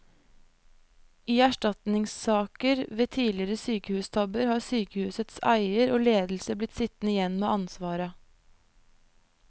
I erstatningssaker ved tidligere sykehustabber har sykehusets eier og ledelse blitt sittende igjen med ansvaret.